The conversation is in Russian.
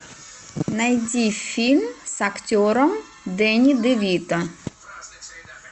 найди фильм с актером дэнни де вито